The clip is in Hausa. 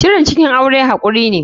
Shirin cikin aure hakuri be.